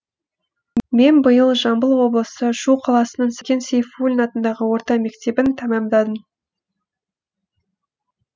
мен биыл жамбыл облысы шу қаласының сәкен сейфуллин атындағы орта мектебін тәмамдадым